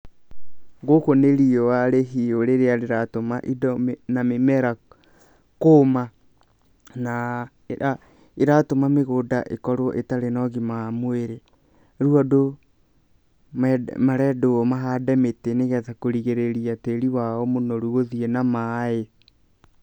Gũkũ nĩ riũa rĩhiũ rĩrĩa rĩratũma indo na mĩmera kũũma, na ĩratũma mĩgũnda ĩkorwo ĩtarĩ na ũgima wa mwĩrĩ. Rĩu andũ marendwo mahande mĩtĩ nĩ getha kũrigĩrĩria tĩri wao mũnoru gũthiĩ na maaĩ.